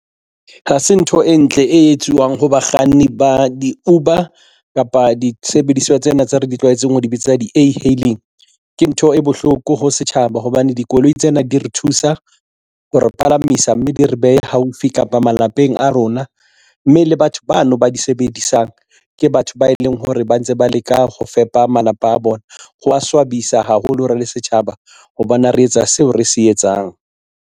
Ha se ntho e ntle e etsuwang ho bakganni ba di-Uber kapa disebediswa tsena tse re di tlwaetseng ho di bitsa di-e-hailing ke ntho e bohloko ho setjhaba hobane dikoloi tsena di re thusa ha re palamisa, mme di re behe haufi kapa malapeng a rona mme le batho bano ba di sebedisang ke batho ba e leng hore ba ntse ba leka ho fepa malapa a bona. Ho a swabisa haholo re le setjhaba ha bana re etsa seo re se etsang.